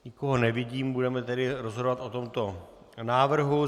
Nikoho nevidím, budeme tedy rozhodovat o tomto návrhu.